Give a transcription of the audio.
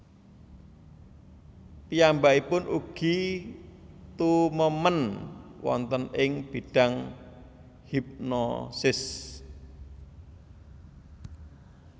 Piyambakipun ugi tumemen wonten ing bidang hipnosis